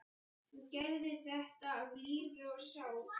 Hún gerði þetta af lífi og sál.